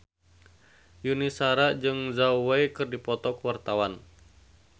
Yuni Shara jeung Zhao Wei keur dipoto ku wartawan